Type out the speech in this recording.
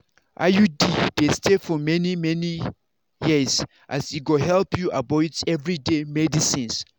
iud dey stay for stay for many-many years as e go help you avoid everyday medicines.